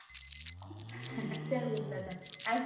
ચારયે પૂછતા હતા આજ